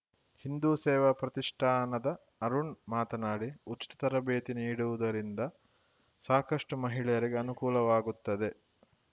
ಹಿಂದೂ ಸೇವಾ ಪ್ರತಿಷ್ಠಾನದ ಅರುಣ್‌ ಮಾತನಾಡಿ ಉಚಿತ ತರಬೇತಿ ನೀಡುವುದರಿಂದ ಸಾಕಷ್ಟು ಮಹಿಳೆಯರಿಗೆ ಅನುಕೂಲವಾಗುತ್ತದೆ